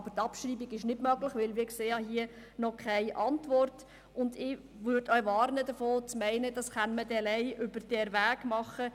Aber die Abschreibung ist nicht möglich, weil wir hier noch keine Antwort sehen, und ich würde auch davor warnen, zu meinen, das könne man dann allein über diesen Weg machen.